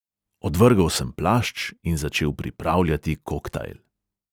Odvrgel sem plašč in začel pripravljati koktajl.